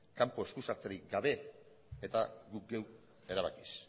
kanpo eskusartzerik gabe eta guk geuk erabakiz